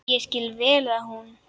Ég skil vel að hún.